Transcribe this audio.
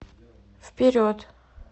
вперед